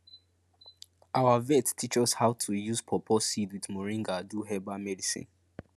our vet teach us how to use pawpaw seed with moringa do herbal medicine